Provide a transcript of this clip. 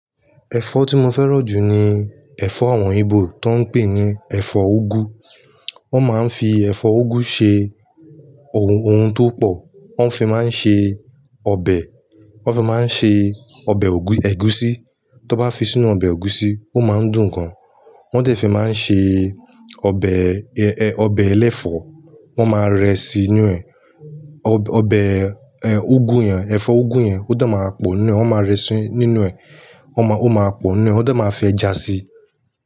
Ẹ̀fọ́ tí mo fẹ́ràn jù ni ẹ̀fọ́ àwọn Igbo tó ń pè ní ẹ̀fọ́ úgú. Wọ́n máa ń fi ẹ̀fọ́ úgú ṣe ohun, ohun tó pọ̀. Wọ́n fi máa ń ṣe ọbẹ̀, wọ́n fi máa ń ṣe ọbẹ̀ ègúsi. Tí wọn bá fi sínú ọbẹ̀ ègúsi, ó máa ń dùn gan. Wọ́n dẹ̀ fi máa ń ṣe ọbẹ̀, ọbẹ̀ ẹlẹ́fọ̀. Wọ́n máa rẹ́ sí inú ẹ̀. Ọbẹ̀, ẹ́, úgú yẹn, ẹ̀fọ́ úgú yẹn ó dà máa pò ní. Wọ́n máa rẹ́ sí inú ẹ̀, wọ́n máa, ó máa pò ní. Wọ́n dẹ̀ máa fi ejá sí.